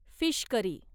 fish curry